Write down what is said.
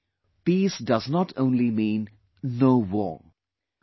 Today, peace does not only mean 'no war'